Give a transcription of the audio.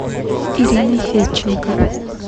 ириной федченко